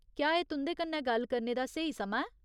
क्या एह् तुं'दे कन्नै गल्ल करने दा स्हेई समां ऐ ?